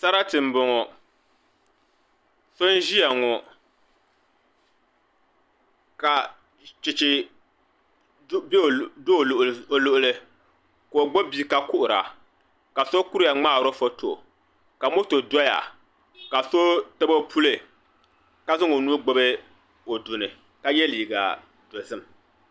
Sarati n boŋo so n ʒiya ŋo ka chɛchɛ bɛ o luɣuli ka o gbubi bia ka kuhura ka so kuriya ŋmaari o foto ka moto doya ka so tabi o puli ka zaŋ o nuu gbubi o duni ka yɛ liiga dozim